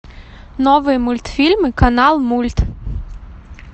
новые мультфильмы канал мульт